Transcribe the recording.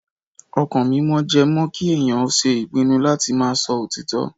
Ọkàn mímọ́ jẹ́ mọ́ kí ènìyàn ṣe ìpinnu láti máa sọ òtítọ́.